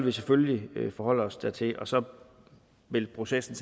vi selvfølgelig forholde os dertil og så vil processen